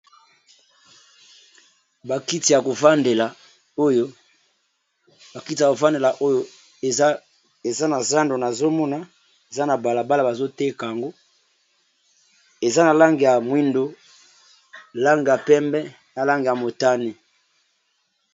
Ba kiti ya ko vandela oyo eza na zando na zomona eza na bala bala bazo teka yango eza na langi ya mwindo langi ya pembe na langi ya motane.